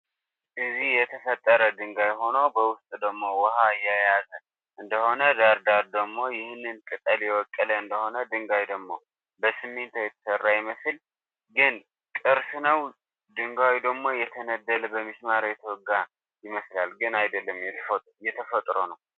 እዚ የተፈጥረ ድንጋይ ሁኖ በውስጡ ድሞ ዋሃ ያዘ እደሆነ ዳርዳር ደሞ ይሁን ቅጠል የወቀለ እንደሆነ ድንጋይ ደሞ በስሚንቶ የተሰራ ይመስላ ግን ቅርስ ነው ድንጋዩ ደሞ የተነደለ ብምስማር የተወጋ ይመስላል ግን ኣደለም የተፈጥሮ ነው።